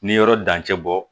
Ni yɔrɔ dancɛ bɔ